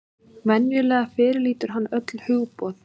Venjulega fyrirlítur hann öll hugboð.